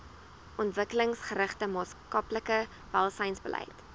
ontwikkelingsgerigte maatskaplike welsynsbeleid